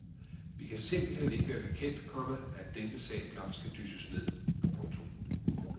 Vi kan simpelthen ikke være bekendt, komma at denne sag blot skal dysses ned. punktum